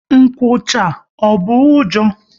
Nkwụcha, ọ bụ ụjọ?